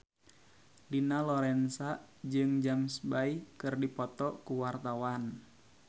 Dina Lorenza jeung James Bay keur dipoto ku wartawan